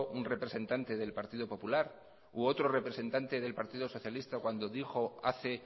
un representante del partido popular u otro representante del partido socialista cuando dijo hace